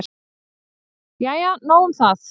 Jæja nóg um það.